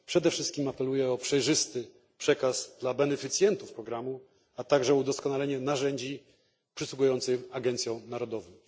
Przede wszystkim apeluję o przejrzysty przekaz dla beneficjentów programu, a także o udoskonalenie narzędzi przysługujących agencjom narodowym.